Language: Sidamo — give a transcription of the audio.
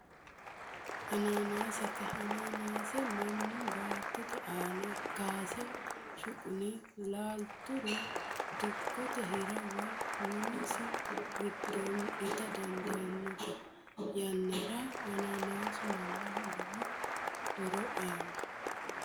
Ananasete, ananase manu baatotte aana kaase shuqu'ne laalituro dikkote hira woyi minisi gidoonni itta dandanno, te yanara ananasu manaho lowo horo aano